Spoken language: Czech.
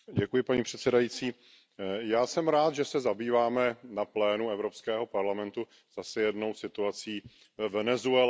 Paní předsedající, já jsem rád, že se zabýváme na plénu Evropského parlamentu zase jednou situací ve Venezuele.